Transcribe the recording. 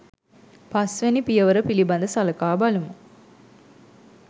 පස් වැනි පියවර පිළිබඳ සළකා බලමු.